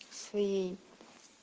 своей